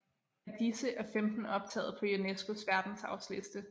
Af disse er 15 optaget på UNESCOs verdensarvsliste